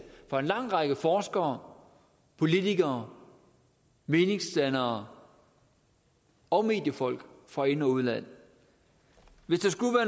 af en lang række forskere politikere meningsdannere og mediefolk fra ind og udland hvis